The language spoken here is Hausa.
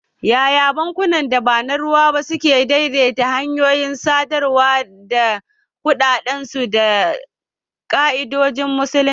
Yaya bankunan da ba na ruwa ba suke daidaita hanyoyin samar da kuɗaɗen su da ka'idojin Musulunci?